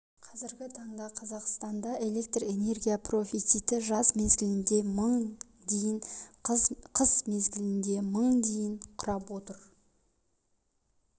қазіргі таңда қазақстанда электр энергия профициті жаз мезгілінде мың дейін қыс мезгілінде мың дейін құрап отыр